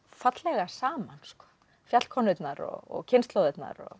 fallega saman fjallkonurnar og kynslóðirnar